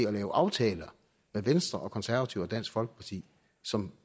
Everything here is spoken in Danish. at lave aftaler med venstre konservative og dansk folkeparti som